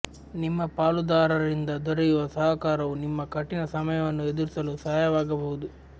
ನಿಮ್ಮ ಪಾಲುದಾರರಿಂದ ದೊರೆಯುವ ಸಹಕಾರವು ನಿಮ್ಮ ಕಠಿಣ ಸಮಯವನ್ನು ಎದುರಿಸಲು ಸಹಾಯವಾಗುವುದು